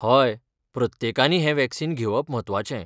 हय प्रत्येकानी हें वॅक्सिन घेवप म्हत्वाचें.